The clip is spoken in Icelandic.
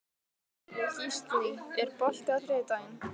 Gíslný, er bolti á þriðjudaginn?